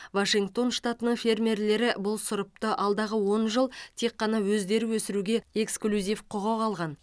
вашингтон штатының фермерлері бұл сұрыпты алдағы он жыл тек қана өздері өсіруге эксклюзив құқық алған